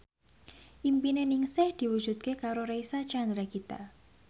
impine Ningsih diwujudke karo Reysa Chandragitta